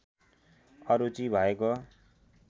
अरुचि भएको